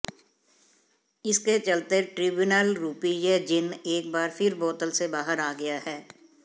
इसके चलते ट्रिब्यूनल रूपी यह जिन्न एक बार फिर बोतल से बाहर आ गया है